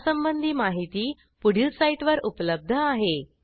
यासंबंधी माहिती पुढील साईटवर उपलब्ध आहे